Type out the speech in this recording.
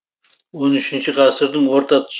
он үшінші ғасырдың орта тұсы